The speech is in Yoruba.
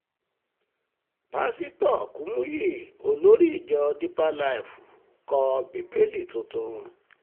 pásítọ̀ kùmùyí olórí ìjọ deeper life kọ bíbélì tuntun